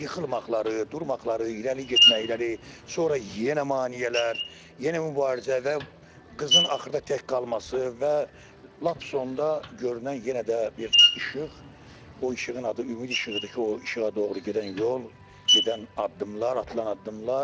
yıxılmaqları, durmaqları, irəli getməkləri, sonra yenə maneələr, yenə mübarizə və qızın axırda tək qalması və lap sonda görünən yenə də bir işıq, o işığın adı "Ümid İşığı"dır ki, o işığa doğru gedən yol, gedən addımlar, atılan addımlar.